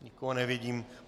Nikoho nevidím.